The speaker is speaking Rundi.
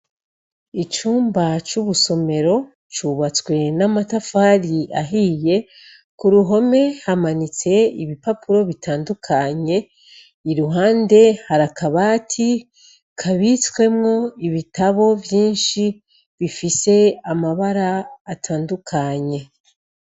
Icumba c ubusomero, cubatswe n amatafar'ahiye, kuruhome hamanits' ibipapuro bitandukanye, iruhande har'akabati kabitswemw'ibitabo vyinshi bifis'amabar'atandukanye